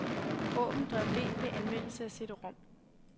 Åbn drev D ved anvendelse af cd-rom.